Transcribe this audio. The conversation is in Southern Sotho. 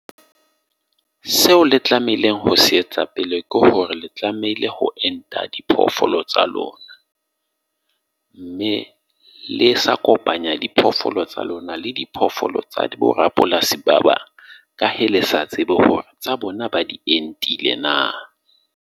Seo le tlamehileng ho se etsa pele ke hore le tlamehile ho enta diphoofolo tsa lona. Mme le sa kopanya diphoofolo tsa lona, le diphoofolo tsa borapolasi ba bang. Ka hee le sa tsebe hore tsa bona ba di entile na.